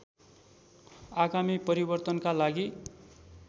आगामी परिवर्तनका लागि